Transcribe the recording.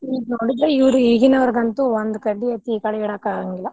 ಈಗ ನೋಡಿದ್ರ ಇವ್ರ್ ಈಗಿನಾವ್ರ್ಗಂತು ಒಂದ್ ಕಡ್ಡಿ ಎತ್ತಿ ಈಕಡೆಗ್ ಇಡಾಕ್ ಆಗಾಂಗಿಲ್ಲಾ.